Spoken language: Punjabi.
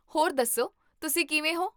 ਹੋਰ ਦੱਸੋ, ਤੁਸੀਂ ਕਿਵੇਂ ਹੋ?